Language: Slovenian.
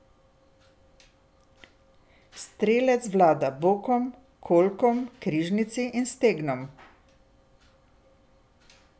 Strelec vlada bokom, kolkom, križnici in stegnom.